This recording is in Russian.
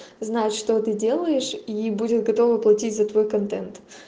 знать что ты делаешь и будет готова платить за твой контент